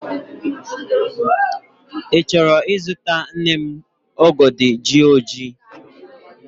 Ị chọrọ ịzụtara nne m ọgọdọ jịọjị?